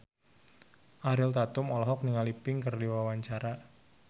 Ariel Tatum olohok ningali Pink keur diwawancara